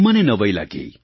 મને નવાઈ લાગી